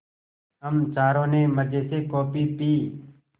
हम चारों ने मज़े से कॉफ़ी पी